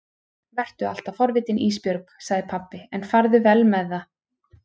Vertu alltaf forvitin Ísbjörg, sagði pabbi, en farðu vel með það.